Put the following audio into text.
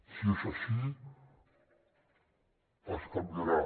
si és així es canviarà